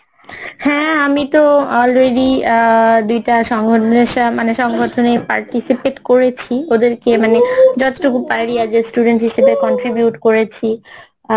হ্যাঁ আমিতো already আহ দুইটা সংগঠন সা মানে সংগঠনে participate করেছি ওদেরকে মানে যতটুকু পারি as a Student হিসাবে contribute করেছি